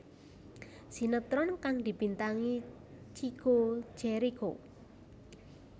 Sinetron kang dibintangi Chico Jericho